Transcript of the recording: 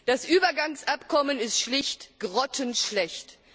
Das Übergangsabkommen ist schlicht grottenschlecht.